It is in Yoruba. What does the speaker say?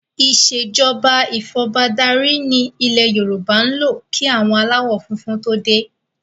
Ìsèjọba ifọbadárí ni ilẹ̀ Yorùbá ń lò kí àwọn aláwọ funfun to dé